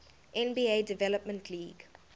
nba development league